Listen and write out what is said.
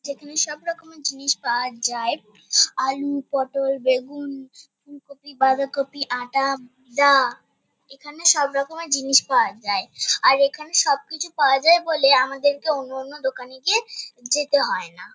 যেখানে সবরকমের জিনিস পাওয়া যায় আলু পটল বেগুন ফুলকপি বাঁধাকপি আটা দা। এখানে সবরকমের জিনিস পাওয়া যায়। আর এখানে সবকিছু পাওয়া যায় বলে আমাদেরকে অন্য অন্য দোকানে গিয়ে যেতে হয় না ।